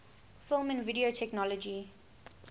film and video technology